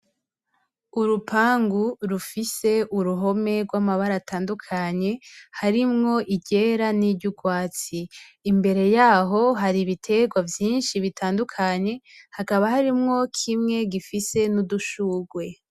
Urupangu rufise uruhome rw'amabara atandukanye, harimwo iryera n'iryurwatsi, imbere yaho hari ibiterwa vyinshi bitandukanye hakaba harimwo kimwe gifise n'udushurwe.